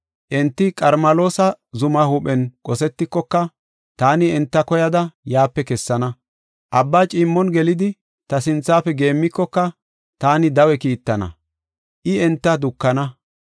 Enti Qarmeloosa zuma huuphen qosetikoka, taani enta koyada yaape kessana. Abba ciimmon gelidi, ta sinthafe geemmikoka, taani dawe kiittin, I enta dukana.